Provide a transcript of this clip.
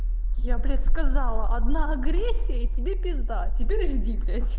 я блять сказала одна агрессия и тебе пизда теперь жди блять